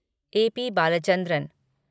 आ. प. बालाचंद्रन